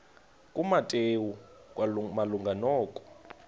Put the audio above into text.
kumateyu malunga nokwa